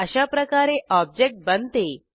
अशाप्रकारे ऑब्जेक्ट बनते